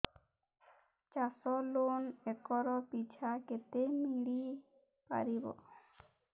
ଚାଷ loan acre ପିଛା କେତେ ମିଳି ପାରିବ